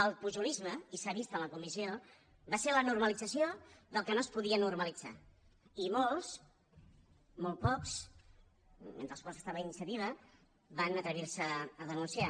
el pujolisme i s’ha vist en la comissió va ser la normalització del que no es podia normalitzar i molt pocs entre els quals estava iniciativa van atrevir se a denunciar